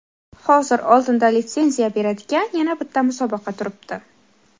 Hozir oldinda litsenziya beradigan yana bitta musobaqa turibdi.